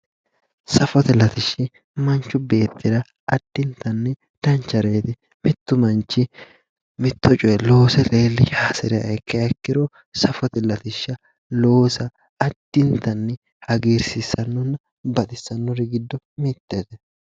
Safote latishshi mancu beettira addintanni danchareeti mittu manchi mitto coye loose leellisha hasiriha ikkiha ikkiro safote latishsha loosa baxissannonna hagiirsiissannori giddo mittete